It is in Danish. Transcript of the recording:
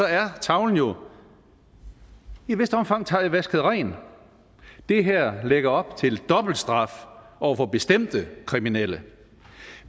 er tavlen jo i et vist omfang vasket ren det her lægger op til dobbelt straf over for bestemte kriminelle